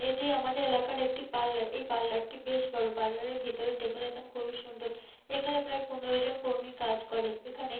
এটি আমাদের এলাকার একটি পার্লার । এই পার্লার - টি বেশ বড় পার্লারের ভিতরে ডেকোরেশন খুবই সুন্দর। এখানে প্রায় পনেরো জন কর্মী কাজ করে। এখানে--